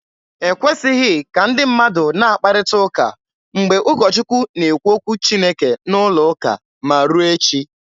E kwesịghị ka ndị mmadụ na-akparịta ụka mgbe ụkọ Chukwu na-ekwu okwu Chineke n'ụlọ ụka, ma ruo echi.